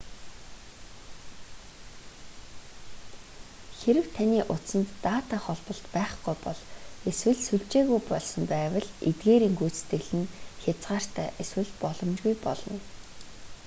хэрэв таны утсанд дата холболт байхгүй бол эсвэл сүлжээгүй болсон байвал эдгээрийн гүйцэтгэл нь хязгаартай эсвэл боломжгүй болно